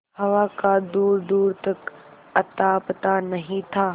हवा का दूरदूर तक अतापता नहीं था